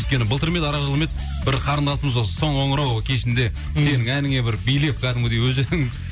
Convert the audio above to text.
өйткені былтыр ма еді арғы жыл ма еді бір қарындасымыз осы соңғы қоңғырау кешінде сенің әніңе бір билеп кәдімгідей өзі